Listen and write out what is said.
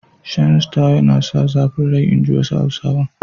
Shan Star yana sa zafin rai inji wasu Hausawan.